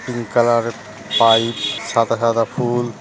Pink colour পাইব সাদা টাদা ফুল ।